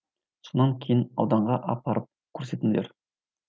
сонан кейін ауданға апарып көрсетіңдер